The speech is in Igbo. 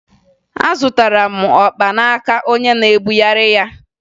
Azụtara m ọkpa n'aka onye na-ebugheri ya